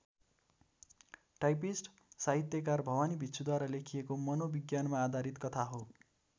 Typist साहित्यकार भवानी भिक्षुद्वारा लेखिएको मनोविज्ञानमा आधारित कथा हो।